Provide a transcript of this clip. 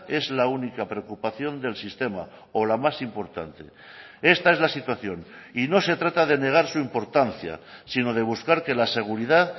es la única preocupación del sistema o la más importante esta es la situación y no se trata de negar su importancia sino de buscar que la seguridad